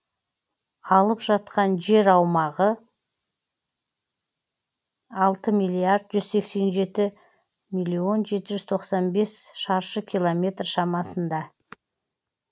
алып жатқан жер аумағы алты миллиард жүз сексен жеті миллион жеті жүз тоқсан бес шаршы километр шамасында